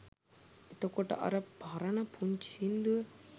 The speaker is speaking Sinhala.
එතකොට අර පරණ පුංචි සින්දුව